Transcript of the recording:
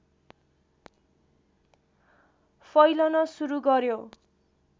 फैलन सुरु गर्‍यो